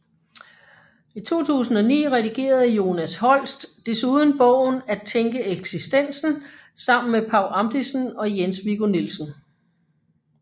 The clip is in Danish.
I 2009 redigerede Jonas Holst desuden bogen At tænke eksistensen sammen med Paw Amdisen og Jens Viggo Nielsen